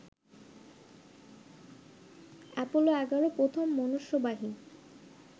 Apollo ১১ প্রথম মনুষ্যবাহী